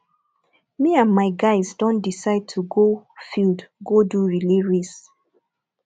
me and my guys don decide to go field go do relay race